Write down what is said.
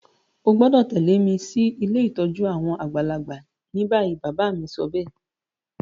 O gbọ́dọ̀ tẹ̀lẹ́ mi si ilé ìtójú àwon àgbàlagbà ni bayi. Bàbá mi sobéè